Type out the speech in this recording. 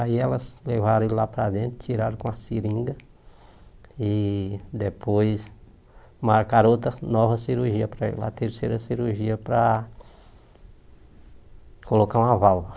Aí elas levaram ele lá para dentro, tiraram com uma seringa e depois marcaram outra nova cirurgia para ele, a terceira cirurgia para colocar uma válvula.